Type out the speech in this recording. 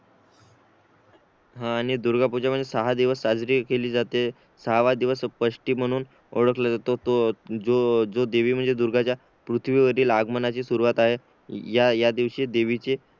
हा आणि दुर्गा पूजा म्हणजे साहा दिवस साजरी केली जाते सहावा दिवसषष्टी म्हणून ओळखला जातो तो जो देवी म्हणजे दुर्गा ज्या पृथ्वी वरील आगमनाची सुरवात आहे या या दिवशी देवीचे